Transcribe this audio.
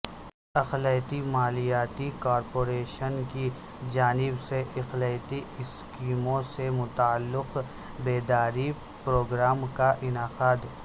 اقلیتی مالیاتی کارپوریشن کی جانب سے اقلیتی اسکیموں سے متعلق بیداری پروگرام کا انعقاد